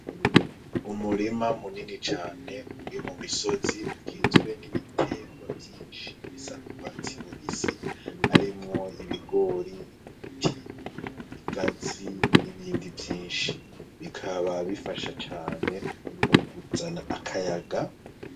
Umurima mu nini cane uri mu misozi ukizwe n'ibiterwa vyinshi bisan'urwatsira ubisi arimwo ibigori ,ibiti, ibigazi n'ibindi vyinshi bikaba bifasha cane mu guzana akayaga.